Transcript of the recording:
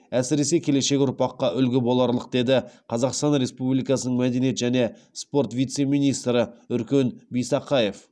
әсіресе келешек ұрпаққа үлгі боларлық деді қазақстан республикасының мәдениет және спорт вице министрі үркен бисақаев